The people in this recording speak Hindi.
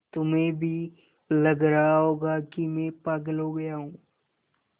तुम्हें भी लग रहा होगा कि मैं पागल हो गया हूँ